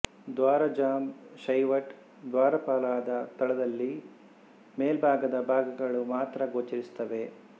ದ್ವಾರಜಾಂಬ್ Shaivite ದ್ವಾರಪಾಲಾದ ತಳದಲ್ಲಿ ಮೇಲ್ಭಾಗದ ಭಾಗಗಳು ಮಾತ್ರ ಗೋಚರಿಸುತ್ತವೆ